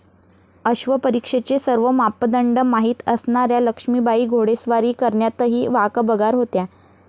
अश्वपरीक्षेचे सर्व मापदंड माहित असणाऱ्या लक्ष्मीबाई घोडेस्वारी करण्यातही वाकबगार होत्या.